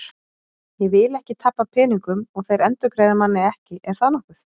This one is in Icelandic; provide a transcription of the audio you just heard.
Ég vil ekki tapa peningum og þeir endurgreiða manni ekki, er það nokkuð?